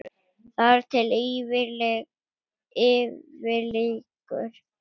Þar til yfir lýkur.